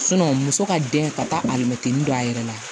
muso ka den ka taa alimɛtiri don a yɛrɛ la